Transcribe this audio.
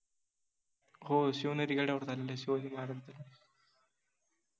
हो, शिवनेरि गडावर झालेला आहे शिवाजि महाराजांचा